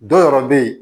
Dɔ wɛrɛ bɛ ye